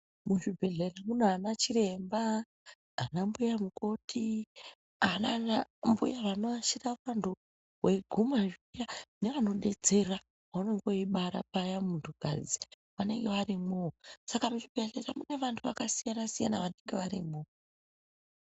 Muzvibhehlera munana chiremba, ana mbuya mukoti anana mbuya anoashira vantu weiguma zviya nevanodetsera paunonga weibara paya muntukadzi vanenge varimwoo Saka muzvibhehlera mune vantu vakasiyana-siyana vanenge varimwo.